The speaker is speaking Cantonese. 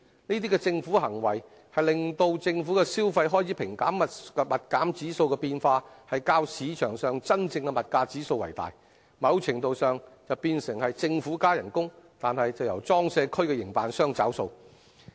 這些政府行為會令政府消費開支平減指數變化較市場上的真正物價變化為大，某程度上變成政府加人工，但卻由裝卸區營辦商找數。